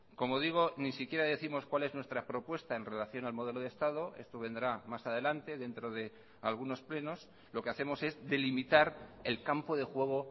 como digo ni siquiera décimos cuál es nuestra propuesta en relación al modelo de estado esto vendrá más adelante dentro de algunos plenos lo que hacemos es delimitar el campo de juego